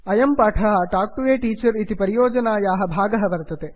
अयं पाठः talk to a teacher इति परियोजनायाः भागः वर्तते